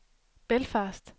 Belfast